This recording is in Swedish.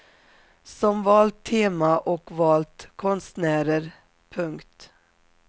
Som valt tema och valt konstnärer. punkt